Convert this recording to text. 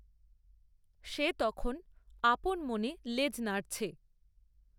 সে তখন আপন মনে লেজ নাড়ছে।